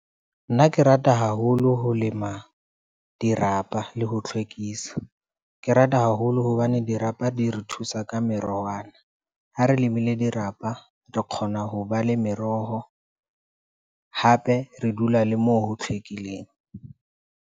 Nna ke rata haholo ho lema dirapa le ho hlwekisa. Ke rata haholo hobane dirapa di re thusa ka merowana, ha re lemile dirapa, re kgona ho ba le meroho hape re dula le moo ho hlwekileng.